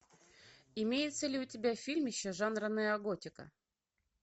имеется ли у тебя фильмище жанра неоготика